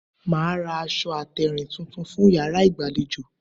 Màá ra aṣọ àtèrìn tuntun fún yàrá ìgbàlejò